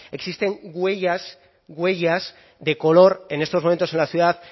existen huellas huellas de color en estos momentos en la ciudad